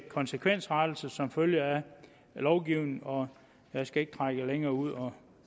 konsekvensrettelser som følge af lovgivningen og jeg skal ikke trække det længere ud og